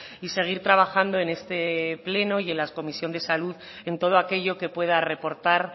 y seguir trabajando en este pleno y en la comisión de salud en todo aquello que pueda reportar